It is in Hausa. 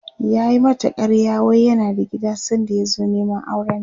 yayi mata ƙarya wai yana da gida sanda ya zo Neman aurenta